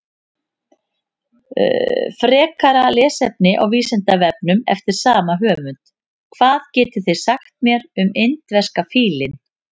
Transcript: Frekara lesefni á Vísindavefnum eftir sama höfund: Hvað getið þið sagt mér um indverska fílinn?